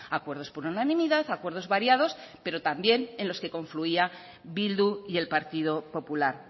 acuerdos por unanimidad acuerdos variados pero también en los que confluía bildu y el partido popular